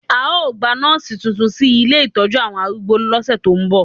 A ó gba nọ́ọ̀sì tuntun sí ilé ìtọ́jú àwọn arúgbó lọ́sẹ̀ tó ń bọ̀